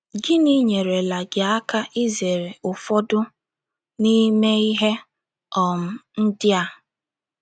Gịnị nyeerela gị aka izere ụfọdụ n’ime ihe um ndị a?